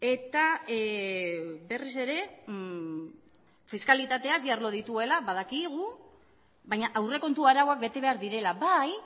eta berriz ere fiskalitateak bi arlo dituela badakigu baina aurrekontu arauak bete behar direla bai